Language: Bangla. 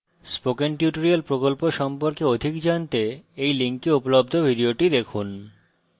spoken tutorial প্রকল্প সম্পর্কে অধিক জানতে এই link উপলব্ধ video দেখুন